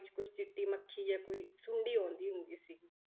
ਵਿੱਚ ਕੁਛ ਚਿੱਟੀ ਮੱਖੀ ਜਾਂ ਕੋਈ ਸੁੰਡੀ ਆਉਂਦੀ ਹੁੰਦੀ ਸੀਗੀ।